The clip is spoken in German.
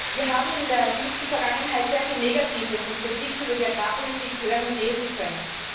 Wir haben in der jüngsten Vergangenheit sehr viel Negatives über und Kritik an der Agrarpolitik hören und lesen können.